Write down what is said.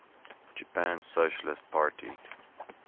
japan socialist party